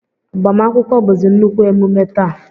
Agbamakwụkwọ bụzi nnukwu emume taa